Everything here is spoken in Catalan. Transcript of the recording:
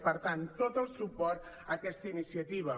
per tant tot el suport a aquesta iniciativa